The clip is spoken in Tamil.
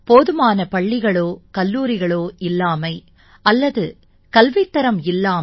போதுமான பள்ளிகளோ கல்லூரிகளோ இல்லாமை அல்லது கல்வித் தரம் இல்லாமை